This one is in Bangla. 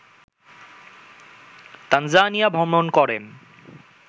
তানজানিয়া ভ্রমণ করেন